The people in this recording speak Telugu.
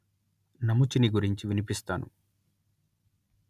నముచిని గురించి వినిపిస్తాను